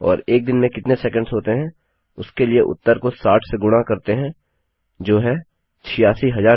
और एक दिन में कितने सेकंड्स होते हैं उसके लिए उत्तर को 60 से गुणा करते हैं जो है 86400